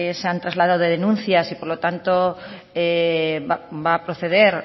se han trasladado denuncias y por lo tanto va a proceder